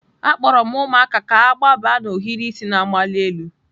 Akpọrọ m ụmụaka ka ha gbaba n'ohiri isi na-amali elu.